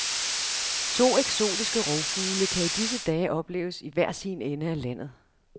To eksotiske rovfugle kan i disse dage opleves i hver sin ende af landet.